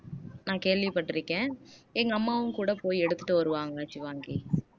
நான் கேள்விப்பட்டிருக்கேன் எங்க அம்மாவும் கூட போய் எடுத்துட்டு வருவாங்க ஷிவாங்கி